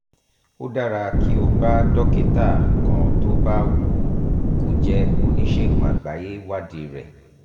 ó dára kí o bá dókítà kan tó bá wù kó jẹ́ oníṣègùn àgbáyé wádìí rẹ̀